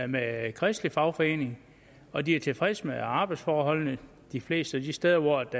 med kristelig fagforening og de er tilfredse med arbejdsforholdene de fleste af de steder hvor det